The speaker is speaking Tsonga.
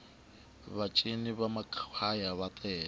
va cini va makhwaya ava tele